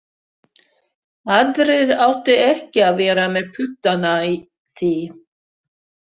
Aðrir áttu ekki að vera með puttana í því.